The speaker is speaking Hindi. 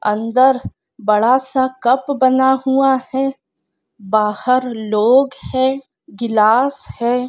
अंदर बड़ा सा कप बना हुआ है बाहर लोग है गिलास है।